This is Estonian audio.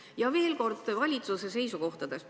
Ja veel kord ka valitsuse seisukohtadest.